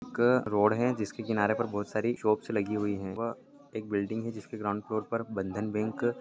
का रोड है जिसके किनारे पर बहुत सारी शॉपस् लगी हुई हैं वह एक बिल्डिंग है जिसके ग्राउंड फ्लोर पर बंधन बैंक ---